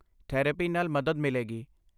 Therapy ਨਾਲ ਮਦਦ ਮਿਲੇਗੀ।